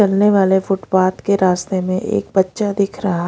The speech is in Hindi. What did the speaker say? चलने वाले फुटपाथ के रास्ते में एक बच्चा दिख रहा।